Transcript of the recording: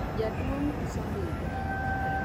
jaduong uso ndiga